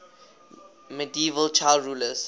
medieval child rulers